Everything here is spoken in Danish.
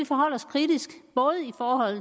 forholde os kritisk